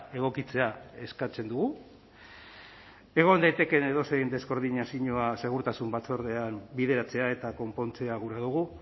egokitzea eskatzen dugu egon daitekeen edozein deskoordinazioa segurtasun batzordean bideratzea eta konpontzea gura dugu